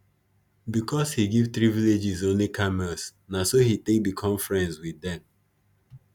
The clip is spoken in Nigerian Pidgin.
because he give three villages only camels na so he take become friends with them